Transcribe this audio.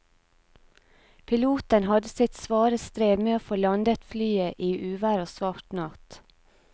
Piloten hadde sitt svare strev med å få landet flyet i uvær og svart natt.